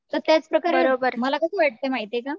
तर त्याच प्रकारे मला कसं वाटतंय माहितीये का